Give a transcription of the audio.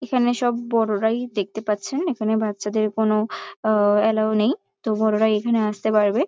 এখানে সব বড়রাই দেখতে পাচ্ছেন এখানে বাচ্চাদের কোনও আহ এলাও নেই তো বড়রাই এখানে আসতে পারবে ।